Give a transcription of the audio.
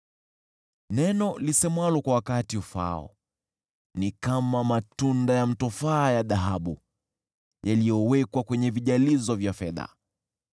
Neno lisemwalo kwa wakati ufaao ni kama matunda ya mtofaa ya dhahabu yaliyowekwa kwenye vijalizo vya fedha.